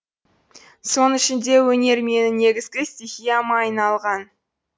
соның ішінде өнер менің негізгі стихияма айналған